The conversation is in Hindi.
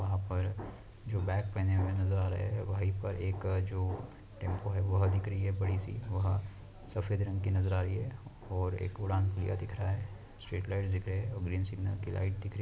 वहाँ पर जो बैग पहने हुए नज़र आ रहे है वही पर एक जो टेम्पो है वह दिख रही है बड़ी सी वह सफेद रंग की नज़र आ रही है और एक उड़ान पहिया दिख रहा है स्ट्रीट लाइट दिख रहे है और ग्रीन सिग्नल की लाइट दिख रही --